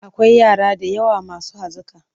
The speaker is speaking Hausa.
Akwai yara da yawa masu hazaƙa.